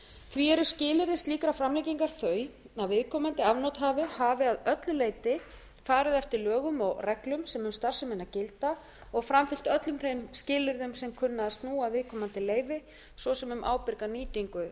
því eru skilyrði slíkrar framlengingar þau að viðkomandi afnotahafa að öllu leyti farið eftir lögum og reglum sem um starfsemina gilda og framfylgt öllum þeim skilyrðum sem kunna að snúa að viðkomandi leyfi svo sem um ábyrga nýtingu